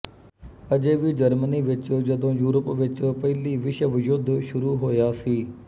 ਅਜੇ ਵੀ ਜਰਮਨੀ ਵਿਚ ਜਦੋਂ ਯੂਰਪ ਵਿਚ ਪਹਿਲੀ ਵਿਸ਼ਵ ਯੁੱਧ ਸ਼ੁਰੂ ਹੋਇਆ ਸੀ